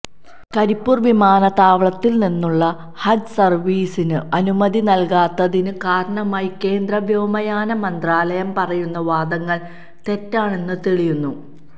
കരിപ്പൂര് വിമാനത്താവളത്തില് നിന്നുള്ള ഹജ്ജ് സര്വ്വീസിന് അനുമതി നല്കാത്തതിന് കാരണമായി കേന്ദ്ര വ്യോമയാന മന്ത്രാലയം പറയുന്ന വാദങ്ങള് തെറ്റാണന്ന് തെളിയുന്നു